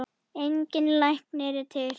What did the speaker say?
Engin lækning er til.